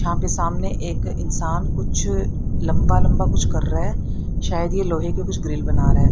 यहां पे सामने एक इंसान कुछ लंबा लंबा कुछ कर रहा है। शायद ये लोहे की कुछ ग्रिल बना रहा है।